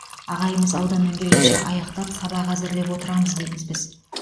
ағайымыз ауданнан келгенше аяқтап сабақ әзірлеп отырамыз дейміз біз